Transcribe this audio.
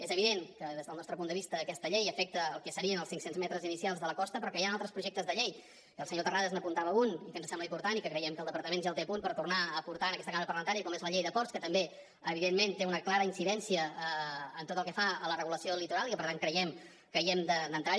és evident que des del nostre punt de vista aquesta llei afecta el que serien els cinc cents metres inicials de la costa però que hi han altres projectes de llei i el senyor terrades n’apuntava un i que ens sembla important i que creiem que el departament ja el té a punt per tornar a portar en aquesta cambra parlamentària com és la llei de ports que també evidentment té una clara incidència en tot el que fa a la regulació del litoral i que per tant creiem que hi hem d’entrar